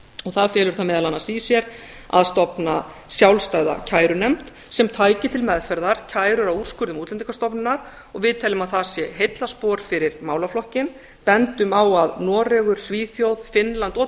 það felur það meðal annars í sér að stofna sjálfstæða kærunefnd sem tæki til meðferðar kærur og úrskurði útlendingastofnunar og við teljum að það sé heillaspor fyrir málaflokkinn bendum á að noregur svíþjóð finnland og